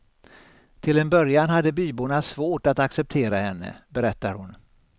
Till en början hade byborna svårt att acceptera henne, berättar hon.